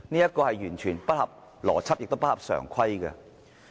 這是完全不合邏輯，亦不合常規的。